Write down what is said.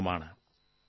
phone call 2